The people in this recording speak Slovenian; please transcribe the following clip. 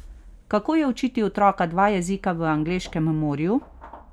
Kako je učiti otroka dva jezika v angleškem morju?